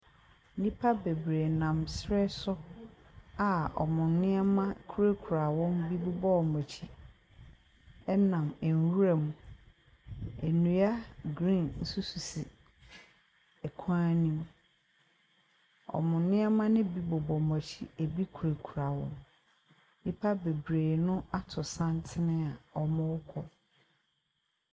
Nnipa bebree nam srɛ so a wɔn nneɛma kurakura wɔn, bi bobɔ wɔn akyi nam nwura mu. Nnua green bi nso sisi kwan ne mu. Wɔn nneɛma ne bi bobɔ wɔn akyi, bi kurakura wɔn. Nnipa bebree no ato santene a wɔrekɔ.